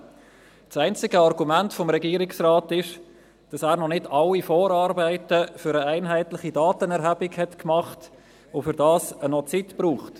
Das einzige Argument des Regierungsrates ist, dass er noch nicht alle Vorarbeiten für eine einheitliche Datenerhebung gemacht hat und dafür noch Zeit braucht.